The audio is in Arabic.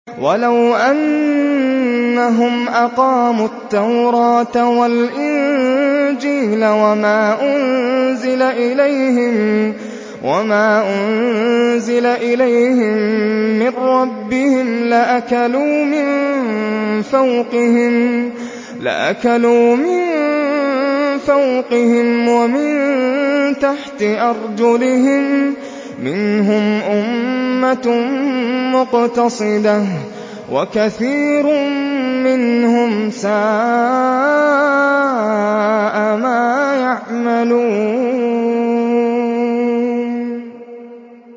وَلَوْ أَنَّهُمْ أَقَامُوا التَّوْرَاةَ وَالْإِنجِيلَ وَمَا أُنزِلَ إِلَيْهِم مِّن رَّبِّهِمْ لَأَكَلُوا مِن فَوْقِهِمْ وَمِن تَحْتِ أَرْجُلِهِم ۚ مِّنْهُمْ أُمَّةٌ مُّقْتَصِدَةٌ ۖ وَكَثِيرٌ مِّنْهُمْ سَاءَ مَا يَعْمَلُونَ